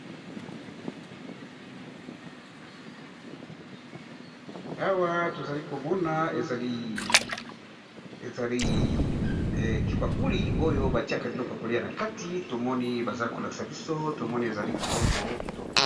Awa, tozali komona ezali kibakuli, oyo ba tiaka bilo ya kolia na kati. Tomoni baza ko lakisa biso. Tomoni ezali kitoko, kitoko.